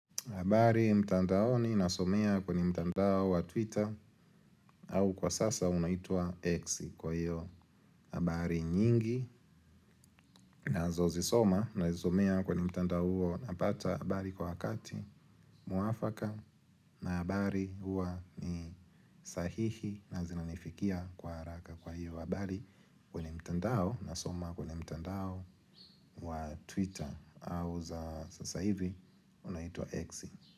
Habari mtandaoni nasomea kwenye mtandao wa twitter au kwa sasa unaitwa X kwa hiyo habari nyingi na zozi soma na zisomea kwenye mtandao huo napata habari kwa wakati muafaka na habari huwa ni sahihi na zinanifikia kwa haraka kwa hiyo habari kwenye mtandao nasoma kwenye mtandao wa twitter au za sasa hivi unaitwa exi.